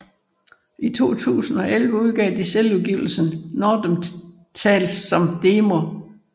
I 2011 udgav de selvudgivelsen Northern Tales som demo